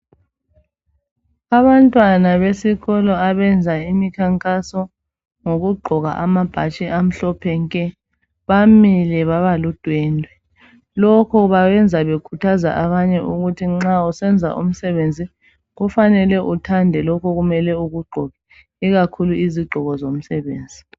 Abantwana besikolo abenza imikhankaso ngokugqoka amabhatshi amhlophe nke bamile babaludwendwe. Lokho bakwenza bekhuthaza abantu ukuthi nxa usenza umsebenzi kufanele uthande lokho ukumele ukugqoke ikakhulu izigqoko zomsebenzi